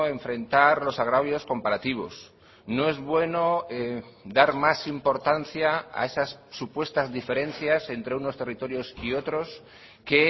enfrentar los agravios comparativos no es bueno dar más importancia a esas supuestas diferencias entre unos territorios y otros que